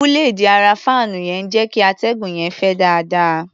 Búléèdì ara fáànù yẹn ń jẹ́ kí atẹ́gùn yẹn fẹ́ dáadáa.